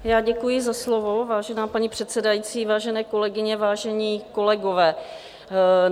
Já děkuji za slovo, vážená paní předsedající, vážené kolegyně, vážení kolegové.